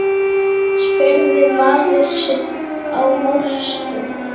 spurði maður sig á norsku.